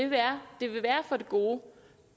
være af det gode